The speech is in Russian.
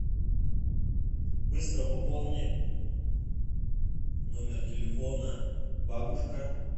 быстро пополни номер телефона бабушка